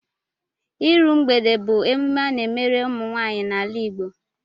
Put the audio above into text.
Iru mgbede bụ emume a na-emere ụmụnwaanyị n'ala Igbo